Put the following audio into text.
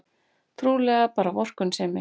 Trúlega bara vorkunnsemi.